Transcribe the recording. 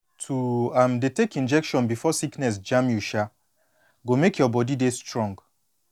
to um dey take injection before sickness jam you um go make your body dey strong